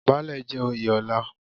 Baálẹ̀ jẹ́ oyè ọlá.